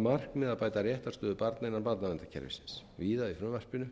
markmiði að bæta réttarstöðu barna innan barnaverndarkerfisins víða í frumvarpinu